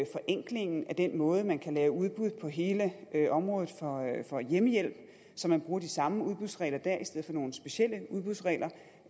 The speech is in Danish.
forenklingen af den måde man kan lave udbud på på hele området for hjemmehjælp så man bruger de samme udbudsregler der i stedet for nogle specielle udbudsregler